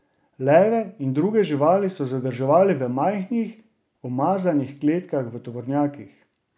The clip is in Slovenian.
Leve in druge živali so zadrževali v majhnih, umazanih kletkah v tovornjakih.